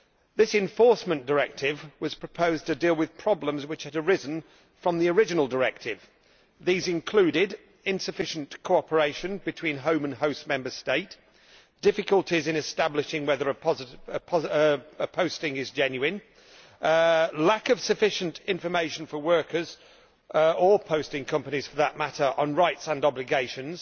This Enforcement Directive was proposed to deal with problems that had arisen from the original directive. This included insufficient cooperation between home and host Member State, difficulties in establishing whether a posting is genuine, lack of sufficient information for workers or posting companies for that matter on rights and obligations,